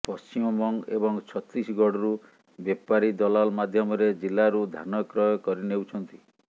ପଶ୍ଚିମବଙ୍ଗ ଏବଂ ଛତିଶଗଡ଼ରୁ ବେପାରି ଦଲାଲ ମାଧ୍ୟମରେ ଜିଲ୍ଲାରୁ ଧାନ କ୍ରୟ କରିନେଉଛନ୍ତି